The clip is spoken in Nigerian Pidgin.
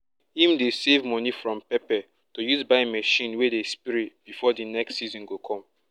him dey save money from pepper to use buy machine wey dey spray before di next season go come